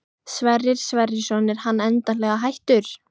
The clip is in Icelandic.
Sverrir Sverrisson er hann endanlega hættur?